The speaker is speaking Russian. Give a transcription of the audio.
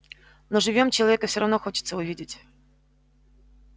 но живьём человека все равно хочется увидеть